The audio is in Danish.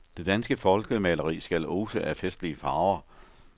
Det danske folkemaleri skal ose af festlige farver.